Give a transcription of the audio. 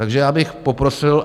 Takže já bych poprosil...